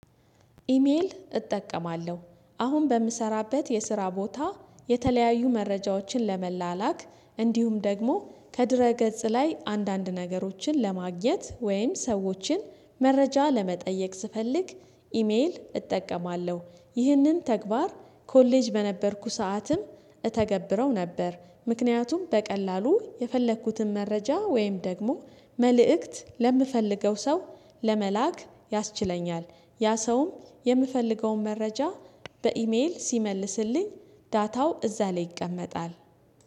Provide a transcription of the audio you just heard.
ኢሜል እጠቀማለሁ አሁን በምሰራበት የስራ ቦታ የተለያዩ መረጃዎችን ለመላላክ እንዲሁም ደግሞ ከድረ ገጽ ላይ አንዳንድ ነገሮችን ለማግኘት ወይም ሰዎችን መረጃ ለመጠየቅ ስፈልግ ኢሜል እጠቀማለሁ። ይህንን ተግባር ኮሌጅ በነበርኩ ሰዓትም እተገብረው ነበር። ምክንያቱም በቀላሉ የፈለኩትን መረጃ ወይም ደግሞ መልእክት ለምፈልገው ሰው ለመላክ ያስችለኛል። ያ ሰውም የምፈልገውን መረጃ በኢሜል ሲመልስልኝ ዳታው እዛ ላይ ይቀመጣል